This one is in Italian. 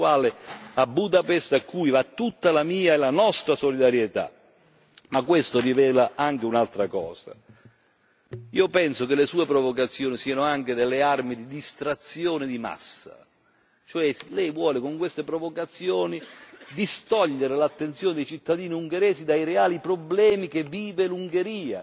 Ma questo rivela anche un'altra cosa. Io penso che le sue provocazioni siano anche delle armi di distrazione di massa, cioè lei vuole con queste provocazioni distogliere l'attenzione dei cittadini ungheresi dai reali problemi che vive l'Ungheria, che sono problemi economici e sociali molto seri e molto profondi.